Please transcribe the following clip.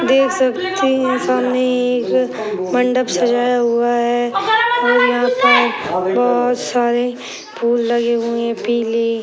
देख सकते हैं सामने एक मंडप सजाया हुआ है और यहाँ पर बहोत सारे फूल लगे हुए हैं पीले।